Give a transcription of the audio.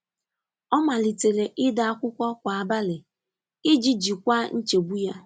Ọ malitere ide akwụkwọ kwa abalị iji jikwaa nchegbu ya.